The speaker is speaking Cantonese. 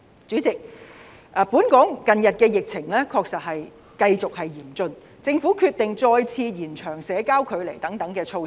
主席，本港近日的疫情繼續嚴峻，政府決定再次延長社交距離等措施。